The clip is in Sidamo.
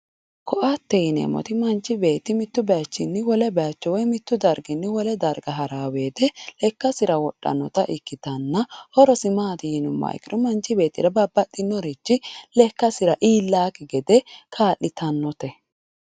Koattete yineemmoti manchi beetti mitu bayichinni wole bayicho woyi mitu bayichinni wole darga ha'rano woyte lekkasira wodhanotta ikkittana horosi maati yinuummoro manchi beettira babbaxinorichi lekkasira iillanokki gede kaa'littanote.